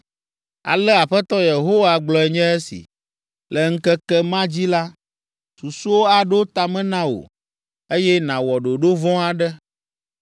Ale Aƒetɔ Yehowa gblɔe nye esi: “Le ŋkeke ma dzi la, susuwo aɖo ta me na wò, eye nàwɔ ɖoɖo vɔ̃ aɖe.”